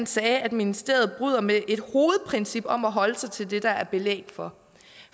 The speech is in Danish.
sagde at ministeriet bryder med et hovedprincip om at holde sig til det der er belæg for